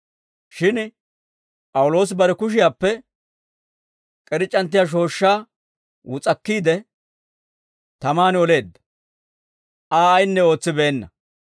Shin P'awuloosi bare kushiyaappe k'irc'c'anttiyaa shooshshaa wus'akkiide, tamaan oleedda; Aa ayinne ootsibeenna.